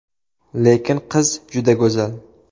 Lekin qiz juda go‘zal.